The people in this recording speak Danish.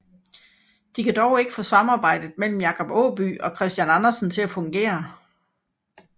De kan dog ikke få samarbejdet imellem Jacob Aaby og Christian Andersen til at fungere